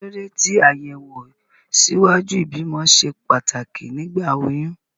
Kí ló dé tí àyẹ̀wò ṣíwájú ìbímọ ṣe pàtàkì nígbà oyún?